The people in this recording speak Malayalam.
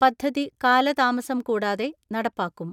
പദ്ധതി കാലതാമസം കൂടാതെ നടപ്പാക്കും.